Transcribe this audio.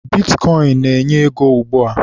Bitkọịn na-enye ego ugbua